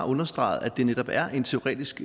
understreget at det netop er en teoretisk